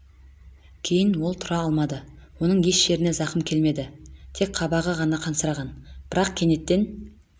кейін ол тұра алмады оның еш жеріне зақым келмеді тек қабағы ғана қансыраған бірақ кенеттен